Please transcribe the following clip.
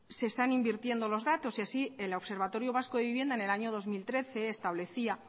se están invirtiendo los datos y así el observatorio vasco de vivienda en el año dos mil trece establecía